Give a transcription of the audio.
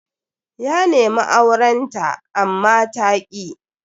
Ya nemi auren ta amma ta ki.